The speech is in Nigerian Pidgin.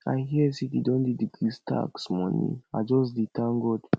i hear say dey don decrease tax money i just dey thank god